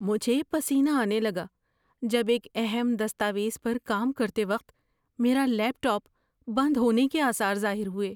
مجھے پسینہ آنے لگا جب ایک اہم دستاویز پر کام کرتے وقت میرا لیپ ٹاپ بند ہونے کے آثار ظاہر ہوئے۔